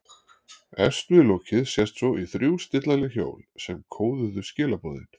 Efst við lokið sést svo í þrjú stillanleg hjól sem kóðuðu skilaboðin.